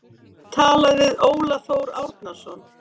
Talað við Óla Þór Árnason.